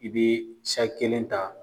I be kelen ta